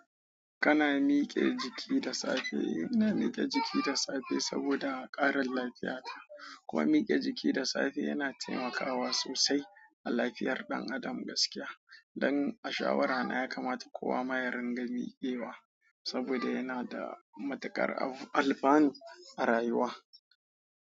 Kana mike jiki da safe. Ina mike jiki da safe saboda ƙarin lafiyata, kuma mike jiki da safe yana taimakawa sosai a lafiyar ɗan adam gaskiya. Don a shawara na yakamata kowa ma ya ringa miƙewa saboda yana da matuƙar alfanu a rayuwa.